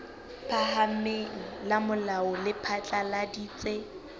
phahameng la molao le phatlaladitse